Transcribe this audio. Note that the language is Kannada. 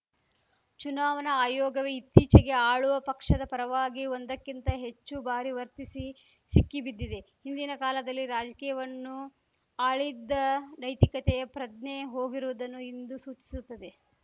ಚುನಾವಣಾ ಆಯೋಗವೇ ಇತ್ತೀಚೆಗೆ ಆಳುವ ಪಕ್ಷದ ಪರವಾಗಿ ಒಂದಕ್ಕಿಂತ ಹೆಚ್ಚುಬಾರಿ ವರ್ತಿಸಿ ಸಿಕ್ಕಿಬಿದ್ದಿದೆ ಹಿಂದಿನ ಕಾಲದಲ್ಲಿ ರಾಜಕೀಯವನ್ನು ಆಳಿದ್ದ ನೈತಿಕತೆಯ ಪ್ರಜ್ಞೆ ಹೋಗಿರುವುದನ್ನು ಇಂದು ಸೂಚಿಸುತ್ತದೆ